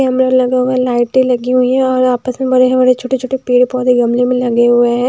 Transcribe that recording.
Camera लगा हुआ है लाइटें लगी हुई हैं और आपस में बड़े-बड़े छोटे-छोटे पेड़-पौधे गमले में लगे हुए हैं।